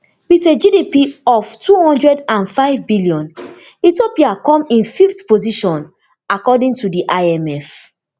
wit a gdp of two hundred and fivebn ethiopia come in fifth position according to di imf